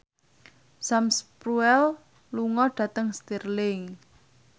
Sam Spruell lunga dhateng Stirling